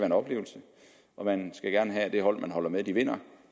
en oplevelse og man skal gerne have at det hold man holder med vinder